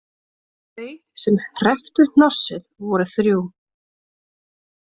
Þau sem hrepptu hnossið voru þrjú